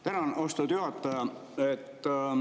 Tänan, austatud juhataja!